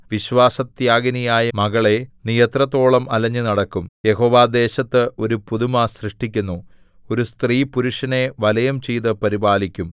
വിശ്വാസത്യാഗിനിയായ മകളേ നീ എത്രത്തോളം അലഞ്ഞുനടക്കും യഹോവ ദേശത്ത് ഒരു പുതുമ സൃഷ്ടിക്കുന്നു ഒരു സ്ത്രീ പുരുഷനെ വലയം ചെയ്തു പരിപാലിക്കും